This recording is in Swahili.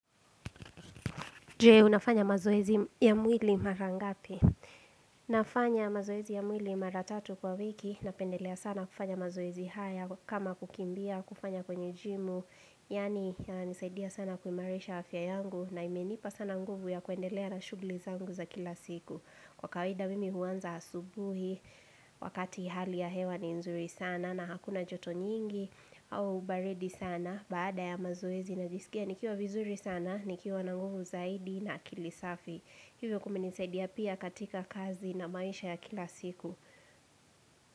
Jue, unafanya mazoezi ya mwili mara ngapi. Nafanya mazoezi ya mwili mara tatu kwa wiki na pendelea sana kufanya mazoezi haya kama kukimbia, kufanya kwenye jimu. Yaani, yanisaidia sana kuimarisha afya yangu na imenipa sana nguvu ya kuendelea na shughuli zangu za kila siku. Kwa kawida mimi huanza asubuhi, wakati hali ya hewa ni nzuri sana na hakuna joto nyingi. Au ubaridi sana baada ya mazoezi najisikia nikiwa vizuri sana nikiwa na nguvu zaidi na akili safi Hivyo kumenisaidia pia katika kazi na maisha ya kila siku.